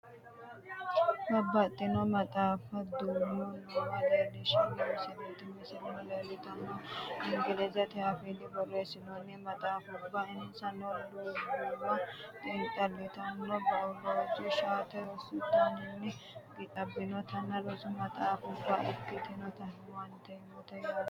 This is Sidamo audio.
Babbaxino maxaaffate duumo noowa leellishshanno misileeti. Misilete leeltannori ingilizete afiinni borreessinoonni maxaaffubbaati insano lubbuwa xiinxallitanno biolooje shallagote rosi dagoomu woyi qansichimate rosi maxaaffubba leeltanno.